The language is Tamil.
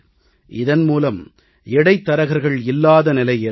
இதன் மூலம் இடைத்தரகர்கள் இல்லாத நிலை ஏற்படும்